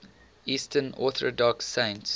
eastern orthodox saints